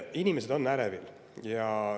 Inimesed on ärevil.